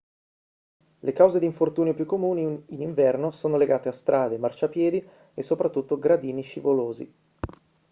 le cause d'infortunio più comuni in inverno sono legate a strade marciapiedi e soprattutto gradini scivolosi